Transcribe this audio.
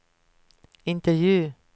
intervju